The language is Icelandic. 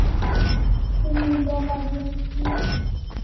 Því lofa ég þér